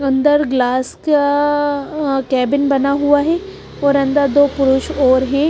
अंदर ग्लास का कैबिन बना हुआ है और अंदर दो पुरुष और हैं।